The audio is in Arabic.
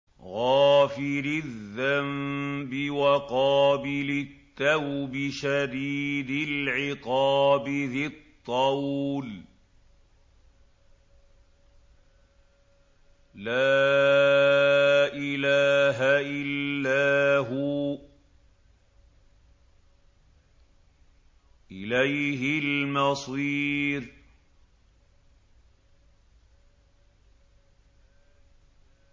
غَافِرِ الذَّنبِ وَقَابِلِ التَّوْبِ شَدِيدِ الْعِقَابِ ذِي الطَّوْلِ ۖ لَا إِلَٰهَ إِلَّا هُوَ ۖ إِلَيْهِ الْمَصِيرُ